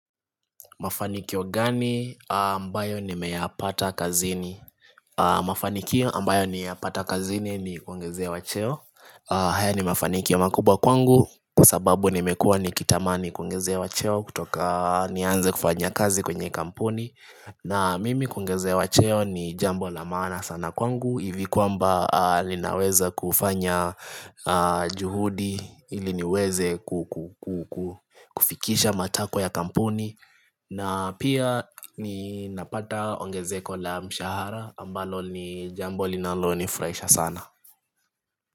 Mafanikio gani ambayo nimeyapata kazini? Mafanikio ambayo niyapata kazini ni kuongezewa cheo haya ni mafanikio makubwa kwangu kwa sababu nimekuwa nikitamani kuongezewa cheo kutoka nianze kufanya kazi kwenye kampuni na mimi kuongezewa cheo ni jambo la maana sana kwangu hivi kwamba linaweza kufanya juhudi ili niweze ku ku ku kufikisha matakwa ya kampuni na pia ninapata ongezeko la mshahara ambalo ni jambo linalonifurahisha sana.